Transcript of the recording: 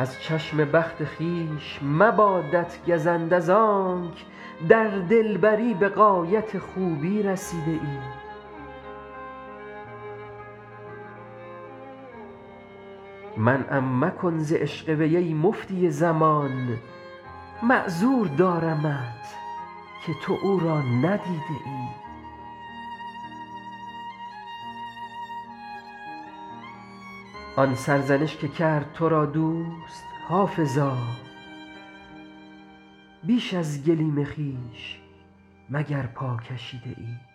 از چشم بخت خویش مبادت گزند از آنک در دلبری به غایت خوبی رسیده ای منعم مکن ز عشق وی ای مفتی زمان معذور دارمت که تو او را ندیده ای آن سرزنش که کرد تو را دوست حافظا بیش از گلیم خویش مگر پا کشیده ای